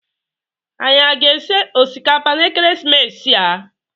Anyi aga esi osikapa na ekeresimesi a?